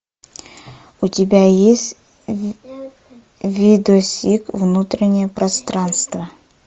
у тебя есть видосик внутреннее пространство